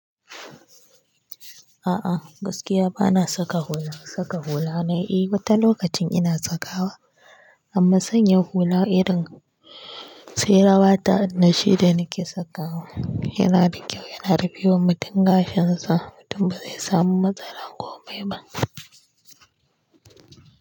A'a, gaskiya bana saka hula. Saka hula na yi wata lokacin ina sakawa amma sanya hula irin sai rawa ta nashi da nike sakawa yana da kyau, yana rufe wa mutum gashinsa. Mutum ba zai samu matsala ko mai ba.